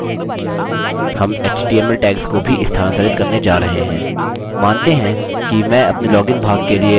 हम html tags को भी स्थानांतरित करने जा रहे हैं